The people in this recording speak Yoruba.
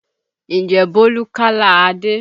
Ǹjẹ́ Bólú kálá Adé?